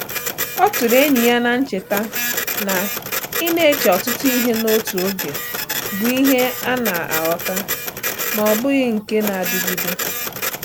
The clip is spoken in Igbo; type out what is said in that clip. Ọ tụrụ enyi ya n’cheta na ịna-eche ọtụtụ ihe n’otu oge bụ ihe a na-aghọta, ma ọ bụghị nke na-adịgide